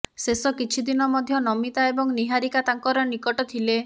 ଶେଷ କିଛି ଦିନ ମଧ୍ୟ ନମିତା ଏବଂ ନିହାରିକା ତାଙ୍କର ନିକଟ ଥିଲେ